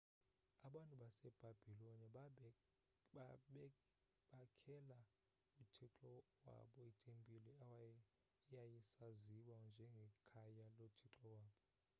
abantu basebhabhiloni bakhela uthixo wabo itempile eyayisaziwa njengekhaya lothixo wabo